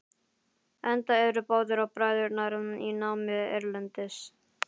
Enda eru báðir bræðurnir í námi erlendis.